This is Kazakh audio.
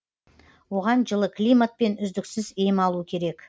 оған жылы климат пен үздіксіз ем алу керек